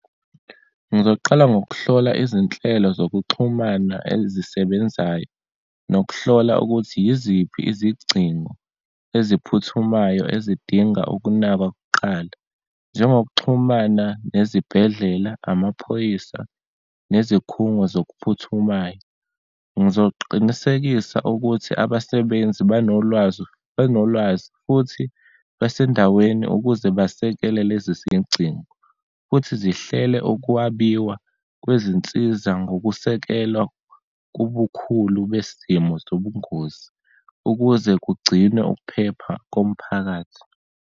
Ngizoqala ngokuhlola izinhlelo zokuxhumana ezisebenzayo, nokuhlola ukuthi yiziphi izigcingo eziphuthumayo ezidinga ukunakwa kuqala, njengokuxhumana nezibhedlela, amaphoyisa, nezikhungo zokuphuthumayo. Ngizoqinisekisa ukuthi abasebenzi banolwazi, benolwazi futhi basendaweni ukuze basekele lezi sezigcingo, futhi zihlele ukwabiwa kwezinsiza ngokusekelwa kubukhulu besimo sobungozi ukuze kugcinwe ukuphepha komphakathi.